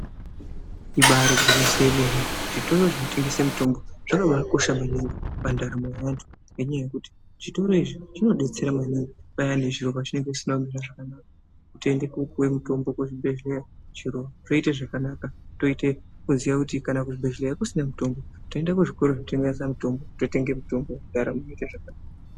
Ibaari gwinyiso remene zvitoro zvinotengese mitombo zvakabaakosha kwemene pandaramo yevantu ngenyaya yekuti zvitoro izvi zvinodetsera maningi payani zviro zvisina kumira zvakanaka toende koopuwe mitombo kuzvibhedhlera zviro zvoita zvakanaka. Unotoziya kuti kana kuchibhedhlera kusina mutombo unoende kuzvitoro zvinotengesa mitombo zviro zvoite zvakanaka.